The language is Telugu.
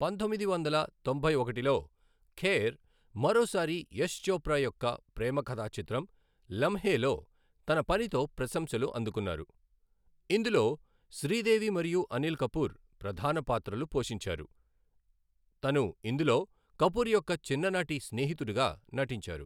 పంతొమ్మిది వందల తొంభై ఒకటిలో, ఖేర్ మరోసారి యష్ చోప్రా యొక్క ప్రేమ కథా చిత్రం లమ్హే లో తన పనితో ప్రశంసలు అందుకున్నారు, ఇందులో శ్రీదేవి మరియు అనిల్ కపూర్ ప్రధాన పాత్రలు పోషించారు, తను ఇందులో కపూర్ యొక్క చిన్ననాటి స్నేహితుడుగా నటించారు.